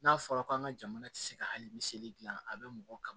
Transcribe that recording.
N'a fɔra ko an ka jamana tɛ se ka hali miseli dilan a bɛ mɔgɔ kalan